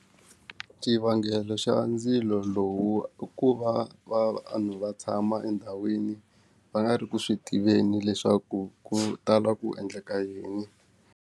Xivangelo xa ndzilo lowu i ku va va vanhu va tshama endhawini va nga ri ku swi tiveni leswaku ku tala ku endleka yini.